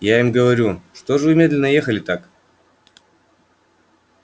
я им говорю что же вы медленно ехали так